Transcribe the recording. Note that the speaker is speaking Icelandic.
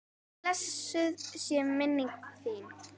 Blessuð sé minning þín.